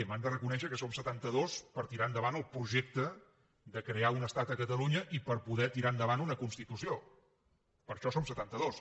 m’han de reconèixer que som setantados per tirar endavant el projecte de crear un estat a catalunya i per poder tirar endavant una constitució per això som setantados